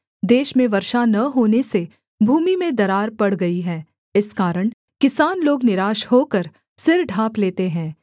देश में वर्षा न होने से भूमि में दरार पड़ गई हैं इस कारण किसान लोग निराश होकर सिर ढाँप लेते हैं